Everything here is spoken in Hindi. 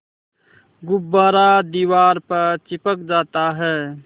गुब्बारा दीवार पर चिपक जाता है